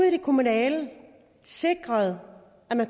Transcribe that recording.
i det kommunale sikrer at